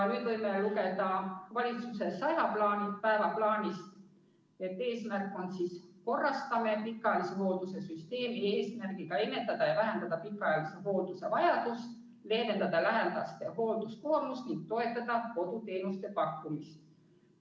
Nüüd võime lugeda valitsuse 100 päeva plaanist järgmist eesmärki: "Korrastame pikaajalise hoolduse süsteemi eesmärgiga ennetada ja vähendada pikaajalise hoolduse vajadust, leevendada lähedaste hoolduskoormust ning toetada koduteenuste pakkumist.